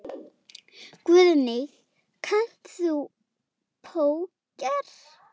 Guðný: Kannt þú póker?